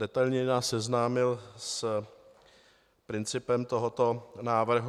Detailněji nás seznámil s principem tohoto návrhu.